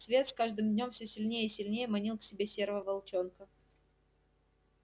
свет с каждым днём все сильнее и сильнее манил к себе серого волчонка